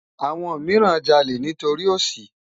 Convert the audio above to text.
Awòn mirán jàlé nitóri óṣí